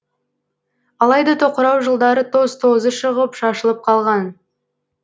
алайда тоқырау жылдары тоз тозы шығып шашылып қалған